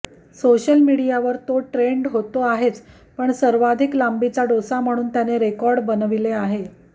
social मिडियावर तो trend होतो आहेच पण सर्वाधिक लांबीचा डोसा म्हणून त्याने रेकॉर्ड बनविले आहे